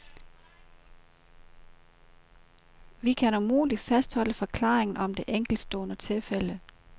Vi kan umuligt fastholde forklaringen om det enkeltstående tilfælde.